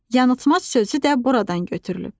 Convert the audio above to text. Yanılmac sözü də buradan götürülüb.